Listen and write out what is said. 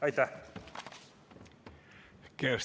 Aitäh!